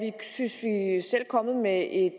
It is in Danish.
kommet med et